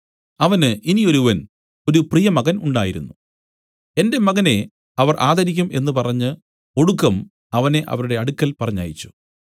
അവന് ഇനി ഒരുവൻ ഒരു പ്രിയമകൻ ഉണ്ടായിരുന്നു എന്റെ മകനെ അവർ ആദരിക്കും എന്നു പറഞ്ഞു ഒടുക്കം അവനെ അവരുടെ അടുക്കൽ പറഞ്ഞയച്ചു